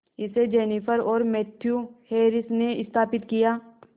इसे जेनिफर और Matthew Harris ने स्थापित किया